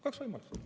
Kaks võimalust.